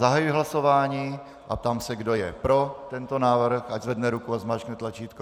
Zahajuji hlasování a ptám se, kdo je pro tento návrh, ať zvedne ruku a zmáčkne tlačítko.